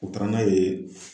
U taara n'a ye